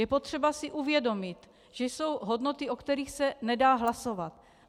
Je potřeba si uvědomit, že jsou hodnoty, o kterých se nedá hlasovat.